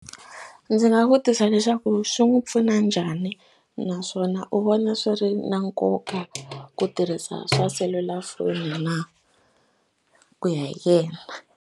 Ndzi nga vutisa leswaku swi n'wi pfuna njhani naswona u vona swi ri na nkoka ku tirhisa swa selulafoni na ku ya hi yena.